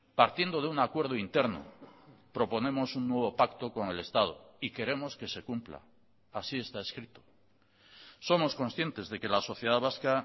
partiendo de un acuerdo interno proponemos un nuevo pacto con el estado y queremos que se cumpla así está escrito somos conscientes de que la sociedad vasca